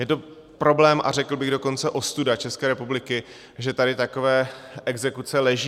Je to problém, a řekl bych dokonce ostuda České republiky, že tady takové exekuce leží.